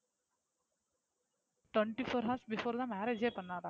twenty four hours before தான் marriage ஏ பண்ணாரா?